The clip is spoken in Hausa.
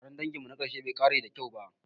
Taron danginmu na ƙarshe bai ƙare da kyau ba.